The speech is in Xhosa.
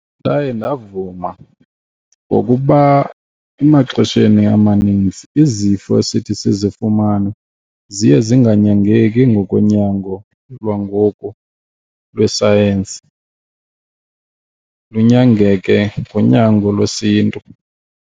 Ndaye ndavuma ngokuba emaxesheni amaninzi izifo esithi sizifumane ziye zinganyangeki ngokonyango lwangoku lwesayensi lunyangeke ngonyango lwesiNtu.